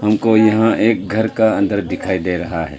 हमको यहां एक घर का अंदर दिखाई दे रहा है।